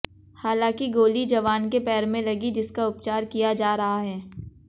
हालांकि गोली जवान के पैर में लगी जिसका उपचार किया जा रहा है